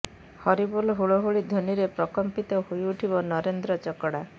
ହରି ବୋଲ ହୁଳହୁଳି ଧ୍ୱନୀରେ ପ୍ରକମ୍ପିତ ହୋଇଉଠିବ ନରେନ୍ଦ୍ର ଚକଡ଼ା